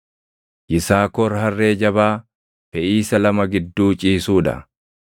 “Yisaakor harree jabaa feʼiisa lama gidduu ciisuu dha.